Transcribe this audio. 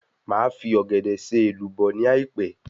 Màá fi Ọ̀gẹ̀dẹ̀ ṣe èlùbọ́ ni àìpẹ́